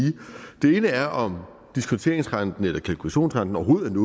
den ene er om diskonteringsrenten eller kalkulationsrenten overhovedet